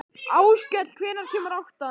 Áskell, hvenær kemur áttan?